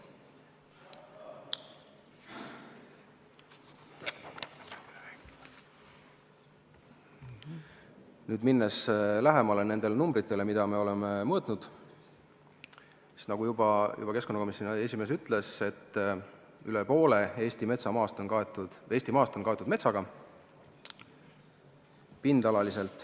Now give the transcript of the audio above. Nüüd, minnes lähemale nendele numbritele, mida me oleme mõõtnud, siis – nagu keskkonnakomisjoni esimees juba ütles – üle poole Eesti maast on kaetud metsaga.